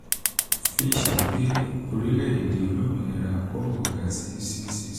um fitch gbé orílẹ̀-èdè olómìnira congo ga sí ccc